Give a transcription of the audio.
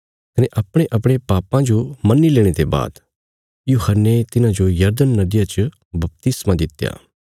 कने अपणेअपणे पापां जो मन्नी लेणे ते बाद यूहन्ने तिन्हांजो यरदन नदिया च बपतिस्मा दित्या